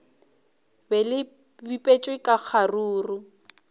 be le bipetšwe ka kgaruru